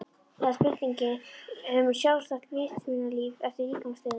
Það er spurningin um sjálfstætt vitsmunalíf eftir líkamsdauðann.